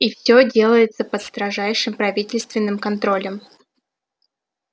и всё делается под строжайшим правительственным контролем